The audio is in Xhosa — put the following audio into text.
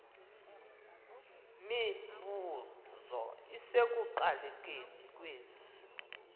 mibuzo isekuqalekeni kwesi